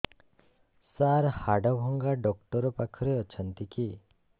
ସାର ହାଡଭଙ୍ଗା ଡକ୍ଟର ପାଖରେ ଅଛନ୍ତି କି